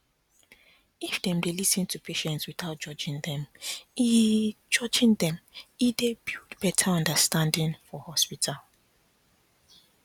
if dem dey lis ten to patients without judging them e judging them e dey build better understanding for hospital